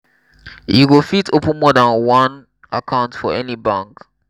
you go fit open more dan one account for any bank.